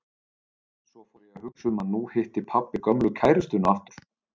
Svo fór ég að hugsa um að nú hitti pabbi gömlu kærustuna aftur.